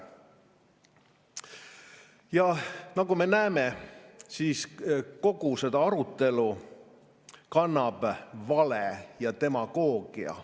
Ja nagu me näeme, kannab kogu seda arutelu vale ja demagoogia.